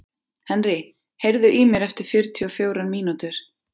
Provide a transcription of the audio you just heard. Henry, heyrðu í mér eftir fjörutíu og fjórar mínútur.